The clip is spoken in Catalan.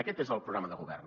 aquest és el programa de govern